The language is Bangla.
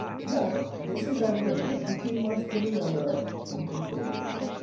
হ্যাঁ বেশি লাগবে না, দু তিন মাস দিলেই আমরা complete হয়ে যাবে